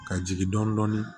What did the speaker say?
Ka jigin dɔɔnin